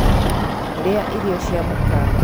Rĩa irio cia mũkawa